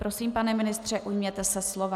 Prosím, pane ministře, ujměte se slova.